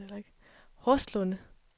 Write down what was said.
Horslunde